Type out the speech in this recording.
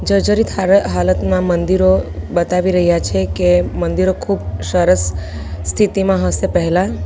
જર્જરીત હાર હાલતમાં મંદિરો બતાવી રહ્યા છે કે મંદિરો ખુબ સરસ સ્થિતિમાં હશે પહેલા.